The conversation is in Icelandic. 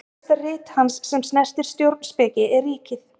Frægasta rit hans sem snertir stjórnspeki er Ríkið.